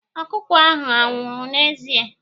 Ọkụkọ ahụ anwụrụ n'ezie?